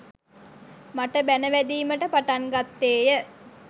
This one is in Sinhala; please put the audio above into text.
මට බැණ වැදීමට පටන් ගත්තේය.